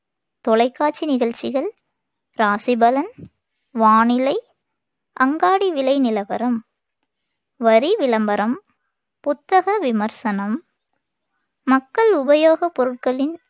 தொலைக்காட்சி நிகழ்ச்சிகள், ராசி பலன், வானிலை, அங்காடி விலை நிலவரம், வரி விளம்பரம், புத்தக விமர்சனம், மக்கள் உபயோகப் பொருட்களின்